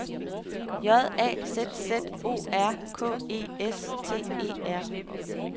J A Z Z O R K E S T E R